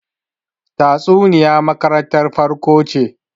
tatsuniya makarantar farko ce